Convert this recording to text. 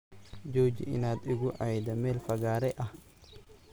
Jooji inaad ii guu cayda meel fagaare ah.